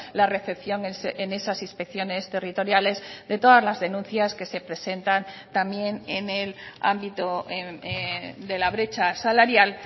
la recepción en esas inspecciones territoriales de todas las denuncias que se presentan también en el ámbito de la brecha salarial